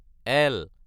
L